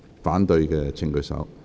反對的請舉手。